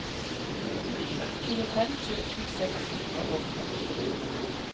tjuefem tusen seks hundre og femti